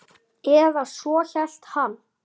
Eða svo hélt hann.